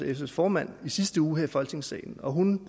sfs formand i sidste uge her i folketingssalen og hun